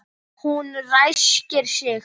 Hún ræskir sig.